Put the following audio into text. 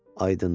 Aydındır,